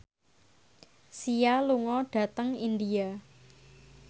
Sia lunga dhateng India